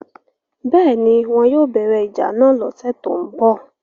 Bẹ́ẹ̀ni, Wọn yóò bẹ̀rẹ̀ ìjà náà lọ́sẹ̀ tó ń bọ̀